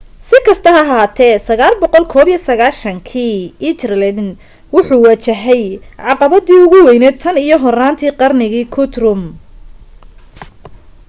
si kasta ha ahaatee 991 kii ethelred wuxuu wajahay caqabadii ugu weyned tan iyo horaanta qarnigii guthrum